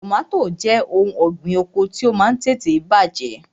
Tọmatì òun ọ̀gbín oko ti o Máà ń tètè bàjẹ́.